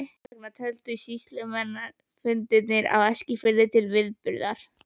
Þess vegna töldust sýslunefndarfundirnir á Eskifirði til viðburða.